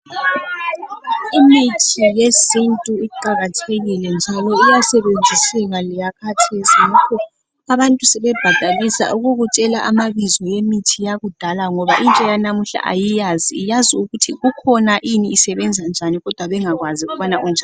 Imithi yesintu iqakathekile njalo iyasebenziseka leyakhathesi ngakho abantu sebebhadalisa ukukutshela amabizo emithi yakudala ngoba intsha yanamuhla ayiyazi ,iyazi ukuthi kukhona ini isebenza njani kodwa bengakwazi ukubana unjani.